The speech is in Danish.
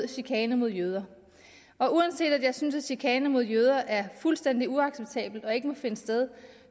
chikane mod jøder og uanset at jeg synes at chikane mod jøder er fuldstændig uacceptabelt og ikke må finde sted